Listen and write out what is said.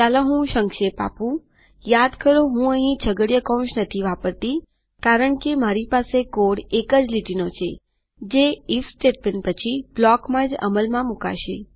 ચાલો હું સંક્ષેપ આપુંયાદ કરોહું અહીં છગડીયો કૌંસ નથી વાપરતી કારણકે મારી પાસે કોડ એક જ લીટીનો છે જે આઇએફ સ્ટેટમેન્ટ પછી બ્લોકમાં જ અમલમાં મુકાશે